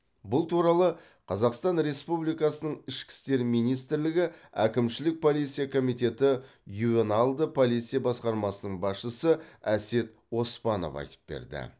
бұл туралы қазақстан республикасының ішкі істер министрілігі әкімшілік полиция комитеті ювеналды полиция басқармасының басшысы әсет оспанов айтып берді